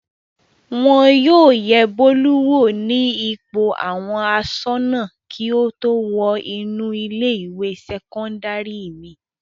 Wọn yóò yẹ Bólú wò ní ipò àwọn aṣọ́nà kí ó tó wọ inú ilé-ìwé sẹ́kọ́ndárì mi.